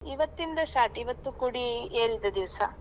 ಇವತಿಂದ start ಇವತ್ತು ಕೊಡಿ ಏರಿದ ದಿವ್ಸ.